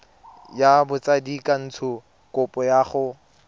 ya botsadikatsho kopo ya go